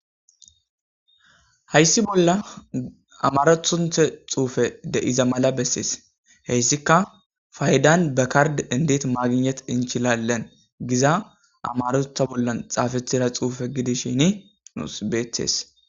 hayssi bolla amarethunthe xuufe deiza mala bessees heyssika faydan bekard endet maaginet inchilalen giza amarotha bollan xaafethida xuufe gidishin nus beethes